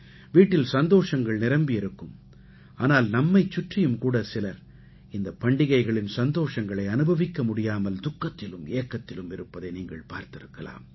வீட்டில் சந்தோஷங்கள் நிரம்பியிருக்கும் ஆனால் நம்மைச் சுற்றியும்கூட சிலர் இந்தப் பண்டிகைகளின் சந்தோஷங்களை அனுபவிக்க முடியாமல் துக்கத்திலும் ஏக்கத்திலும் இருப்பதை நீங்கள் பார்த்திருக்கலாம்